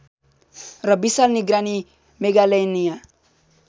र विशाल निगरानी मेगालेनिया